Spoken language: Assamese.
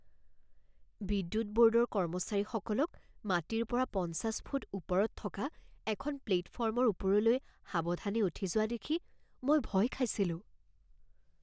বিদ্যুৎ ব'ৰ্ডৰ কৰ্মচাৰীসকলক মাটিৰ পৰা পঞ্চাছ ফুট ওপৰত থকা এখন প্লেটফৰ্মৰ ওপৰলৈ সাৱধানে উঠি যোৱা দেখি মই ভয় খাইছিলোঁ।